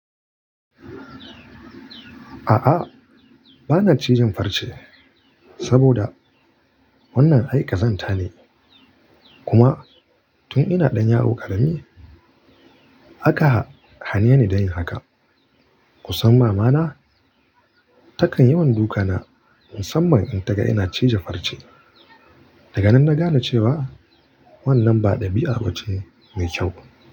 A'a, bana ciji farce saboda wannan aikazan tane. Kuma tun ina ɗan yaro ƙarami aka hane ni dayin haka. Kusan mama na takan yawanduka na musamman in taga ina cije farce. Daga nan na gane cewa wannan ba ɗabi'a bace mai kyau.